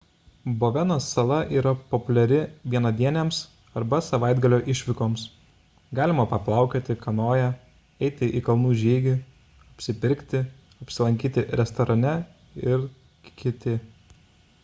boveno sala yra populiari vienadienėms arba savaitgalio išvykoms – galima paplaukioti kanoja eiti į kalnų žygį apsipirkti apsilankyti restorane ir kt